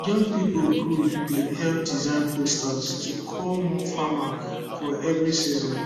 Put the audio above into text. young people group bin help design poster to call more farmer for every season